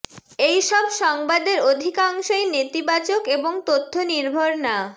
এই সব সংবাদের আধিকাংশই নেতিবাচক এবং তথ্য নির্ভর না